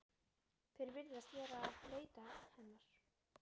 Þeir virðast vera að leita hennar.